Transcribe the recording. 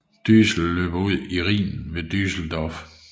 Düssel løber ud i Rhinen ved Düsseldorf